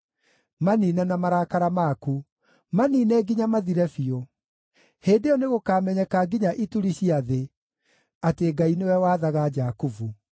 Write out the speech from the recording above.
maniine na marakara maku, maniine nginya mathire biũ. Hĩndĩ ĩyo nĩgũkamenyeka nginya ituri cia thĩ, atĩ Ngai nĩwe wathaga Jakubu.